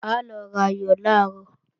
A lọ rayò làárọ̀